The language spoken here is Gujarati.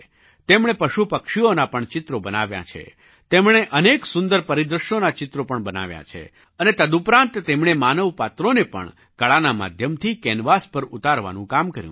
તેમણે પશુપક્ષીઓનાં પણ ચિત્રો બનાવ્યાં છે તેમણે અનેક સુંદર પરિદૃશ્યોનાં ચિત્રો પણ બનાવ્યાં છે અને તદુપરાંત તેમણે માનવ પાત્રોને પણ કળાના માધ્યમથી કેનવાસ પર ઉતારવાનું કામ કર્યું છે